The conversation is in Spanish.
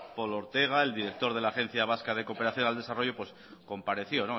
polo ortega el director de la agencia vasca de cooperación al desarrollo pues compareció